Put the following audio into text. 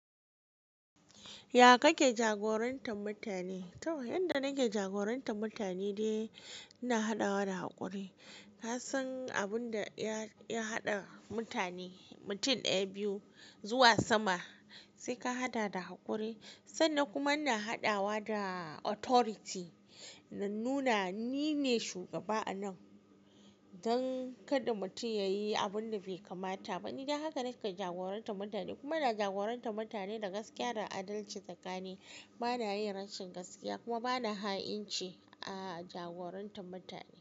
Ya kake jagorantar mutane? To, yanda nake jagorantar mutane dai ina haɗawa da haƙuri. Kasan abin da ya haɗa mutane, mutum ɗaya biyu zuwa sama sai ka haɗa da haƙuri. Sannan kuma ina haɗawa da authority na nuna nine shugaba anan don kada mutum ya yi abun da bai kamata ba. Ni dan haka nake jagorantar mutane kuma ina jagorantar mutane da gaskiya da adalci tsakani. Bana yin rashin gaskiya kuma bana ha'inci a jagorantar mutane.